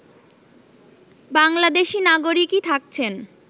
বাংলাদেশী নাগরিকই থাকছেন